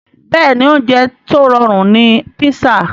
Bẹ́ẹ̀ni oúnjẹ tó rọrùn ni písà